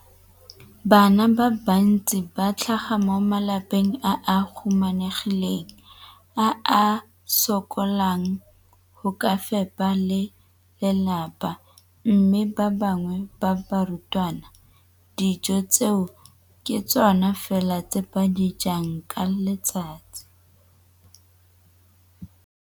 Bana ba le bantsi ba tlhaga mo malapeng a a humanegileng a a sokolang go ka fepa ba lelapa mme ba bangwe ba barutwana, dijo tseo ke tsona fela tse ba di jang ka letsatsi.